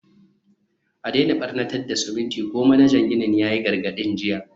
a daina barnatar da siminti ko, manajan ginin ya yi gargadin jiya.